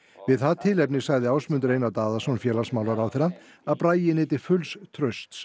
við það tilefni sagði Ásmundur Einar Daðason félagsmálaráðherra að Bragi nyti fulls trausts